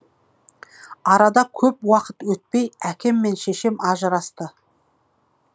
арада көп уақыт өтпей әкем мен шешем ажырасты